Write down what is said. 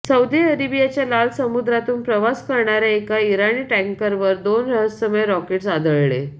Saudi अरेबियाच्या लाल समुद्रातून प्रवास करणाऱ्या एका इराणी टँकर वर दोन रहस्यमय रॉकेट्स आदळले